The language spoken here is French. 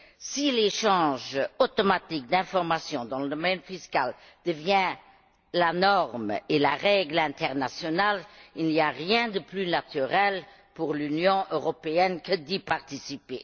Si l'échange automatique d'informations dans le domaine fiscal devient la norme et la règle internationale, il n'y a rien de plus naturel pour l'Union européenne que d'y participer.